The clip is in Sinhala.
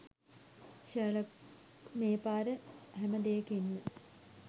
ෂර්ලොක් මේ පාර හැම දේකින්ම